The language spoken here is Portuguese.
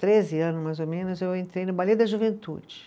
Treze anos, mais ou menos, eu entrei no Ballet da Juventude.